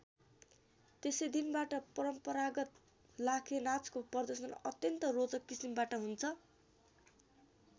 त्यसै दिनबाट परम्परागत लाखेनाचको प्रदर्शन अत्यन्त रोचक किसिमबाट हुन्छ।